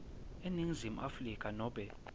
eningizimu afrika nobe